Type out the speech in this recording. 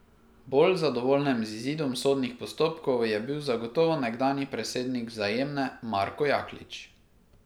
Bolj zadovoljen z izidom sodnih postopkov je bil zagotovo nekdanji predsednik Vzajemne Marko Jaklič.